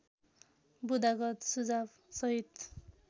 बुँदागत सुझाव सहित